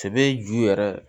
Sɛbɛ ju yɛrɛ